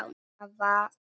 Hvaða lán?